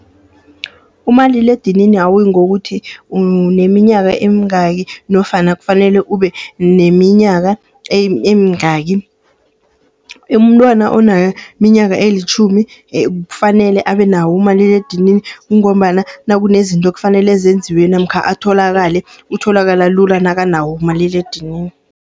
Umaliledinini awuyi ngokuthi uneminyaka emingaki nofana kufanele ube neminyaka emingaki. Umntwana oneminyaka elitjhumi, kufanele abe nawo umaliledinini. Kungombana nakunezinto ekufanele zenziwe namkha atholakale, utholakala lula nakanawo umaliledinini.